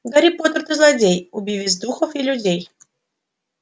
гарри поттер ты злодей убивец духов и людей